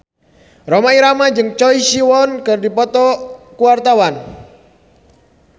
Rhoma Irama jeung Choi Siwon keur dipoto ku wartawan